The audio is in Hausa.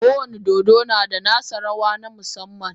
Kowane dodo na da nasa rawa na musamman.